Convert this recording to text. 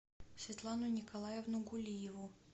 светлану николаевну гулиеву